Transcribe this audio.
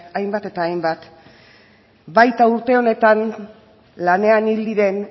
hainbat eta hainbat baita urte honetan lanean hil diren